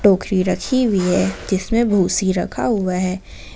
टोकरी रखी हुई है जिसमे भूसी रखा हुआ है।